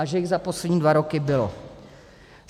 A že jich za poslední dva roky bylo!